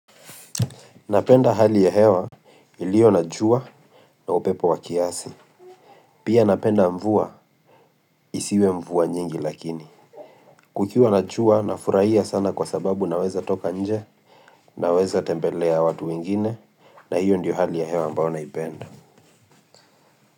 Napenda hali ya hewa iliyo na jua na upepo wa kiasi. Pia napenda mvua isiwe mvua nyingi lakini. Kukiwa na jua nafurahia sana kwa sababu naweza toka nje naweza tembelea watu wengine na hiyo ndiyo hali ya hewa ambayo naipenda.